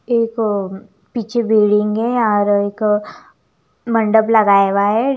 एक और पीछे बिल्डिंग है यहाँ पर मंडप लगाया हुआ है ।